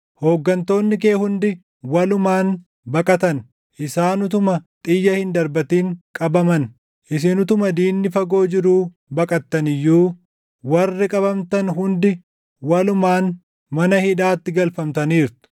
Hooggantoonni kee hundi walumaan baqatan; isaan utuma xiyya hin darbatin qabaman. Isin utuma diinni fagoo jiruu baqattan iyyuu warri qabamtan hundi walumaan mana hidhaatti galfamtaniirtu.